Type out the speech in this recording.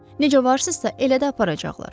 Necə varsınızsa, elə də aparacaqlar.